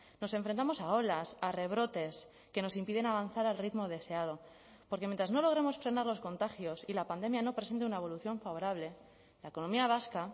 nos enfrentamos a olas a rebrotes que nos impiden avanzar al ritmo deseado porque mientras no logremos frenar los contagios y la pandemia no presente una evolución favorable la economía vasca